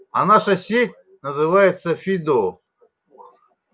а наша сеть называется фидо